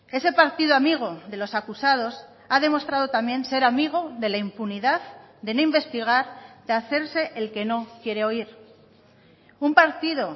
ese partido amigo de los acusados ha demostrado también ser amigo de la impunidad de no investigar de hacerse el que no quiere oír un partido